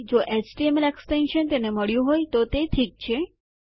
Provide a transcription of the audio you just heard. જો HTML extension તેને મળ્યું હોય તો તે ઠીક છે